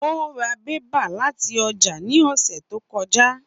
Ó ra pépà láti ọjà ní ọ̀sẹ̀ tó kọjá